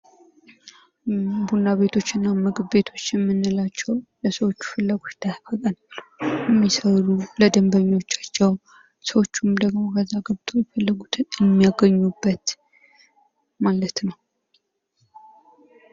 ቡና ቤቶችና ምግብ ቤቶች የምንላቸው ለሰዎቹ ፍላጐት የሚሰሩ ለደንበኞቻቸው ሰዎቹም ደግሞ እዛው ገብተው የፈለጉትን የሚያገኙበት ማለት ነው።